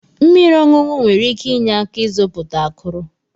Mmiri ọṅụṅụ nwere ike inye aka ịzọpụta akụrụ.